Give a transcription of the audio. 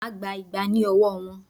Máà gba igba ní ọwọ́ wọn!